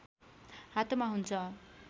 हातमा हुन्छ